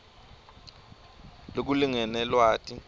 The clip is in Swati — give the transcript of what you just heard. lokulingene lwati